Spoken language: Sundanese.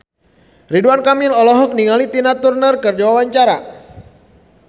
Ridwan Kamil olohok ningali Tina Turner keur diwawancara